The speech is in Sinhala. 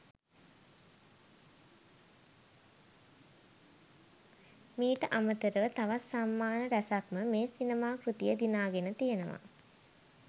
මීට අමතරව තවත් සම්මාන ‍රැසක්ම මේ සිනමා කෘතිය දිනාගෙන තියනවා.